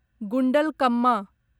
Gundlakamma